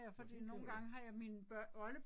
Nåh hende hende du